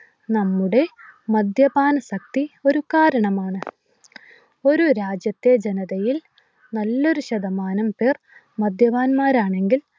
നമ്മുടെ മദ്യപാനശക്തി ഒരു കാരണമാണ്. ഒരു രാജ്യത്തെ ജനതയിൽ നല്ലൊരു ശതമാനം പേർ മദ്യപാന്മാരാണെങ്കിൽ